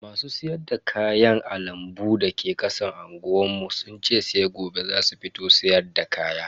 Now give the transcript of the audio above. Masu siyar da kayan a lambun da ke kasan unguwar mu sun ce sai gobe zasu fito siyarda kaya.